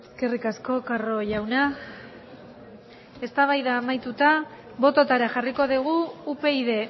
eskerrik asko carro jauna eztabaida amaituta bototara jarriko dugu upyd